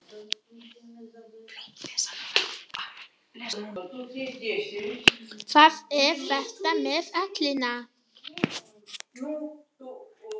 Það er þetta með ellina.